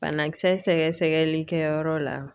Banakisɛ sɛgɛsɛgɛlikɛyɔrɔ la